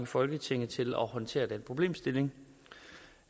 folketinget til at håndtere den problemstilling